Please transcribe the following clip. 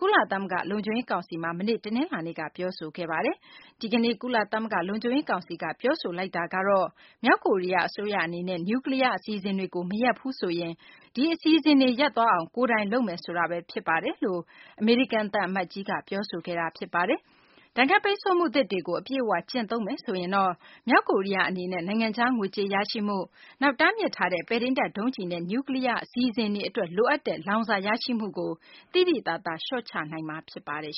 ကုလသမဂ္ဂ လုံခြုံရေး ကောင်စီကို မနေ့ တနလာၤနေ့က ပြောဆိုခဲ့ပါတယ်။ ဒီကနေ့ ကုလသမဂ္ဂ လုံခြုံရေး ကောင်စီက ပြောဆိုလိုက်တာကတော့ မြောက်ကိုရီးယား အစိုးရ အနေနဲ့ နျူးကလီးယား အစီအစဉ်တွေကို မရပ်ဘူးဆိုရင်၊ ဒီအစီအစဉ်တွေ ရပ်သွားအောင် ကိုယ်တိုင် လုပ်မယ်ဆိုတာဘဲ ဖြစ်ပါတယ်လို့ ကုလဆိုင်ရာ အမေရိကန် သံအမတ်ကြီးက ပြောဆိုခဲ့ပါတယ်။ ဒဏ်ခတ်ပိတ်ဆို့မှုသစ်တွေကို အပြည့်အ၀ ကျင့်သုံးခဲ့ရင်တော့ မြောက်ကိုရီးယား အနေနဲ့ နိုင်ငံခြားငွေကြေး ရရှိမှု၊ နောက် တားမြစ်ထားတဲ့ ပဲ့ထိန်းတပ် ဒုံးကျည်နဲ့ နျူးကလီးယား အစီအစဉ်တွေ အတွက် လိုအပ်တဲ့ လောင်စာရရှိမှုကို သိသိသာသာ လျှော့ချနိုင်မှာ ဖြစ်ပါတယ်